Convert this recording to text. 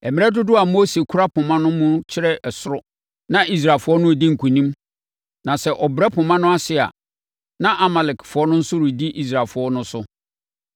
Mmerɛ dodoɔ a Mose kura poma no mu kyerɛ soro na Israelfoɔ no redi nkonim na sɛ ɔbrɛ poma no ase a, na Amalekfoɔ no nso redi Israelfoɔ no so.